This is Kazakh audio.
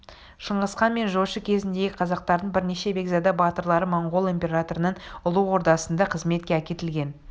шыңғысхан мен жошы кезінде қазақтардың бірнеше бекзада батырлары монғол императорының ұлы ордасында қызметке әкетілген